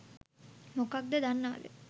මොකක්ද දන්නවද